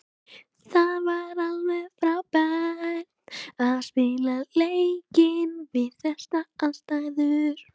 Það var alveg frábært að spila leikinn við þessar aðstæður.